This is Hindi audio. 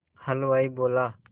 हलवाई बोला